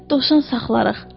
Dovşan saxlayarıq.